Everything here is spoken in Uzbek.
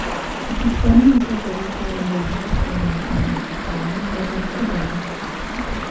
O‘quvchilarning masofaviy ta’lim doirasida olgan bilimlari baholanib borilishi zarur.